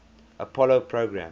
apollo program